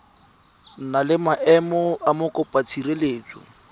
na le maemo a mokopatshireletso